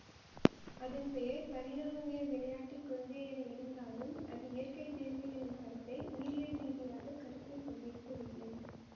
அதன் பெயர் பரிணாமவியல் விளையாட்டு கொள்கை என இருந்தாலும் அது இயற்கை தேர்வு எனும் கருத்தை உயிரியல் ரீதியாக கருத்தில் கொண்டிருக்கவில்லை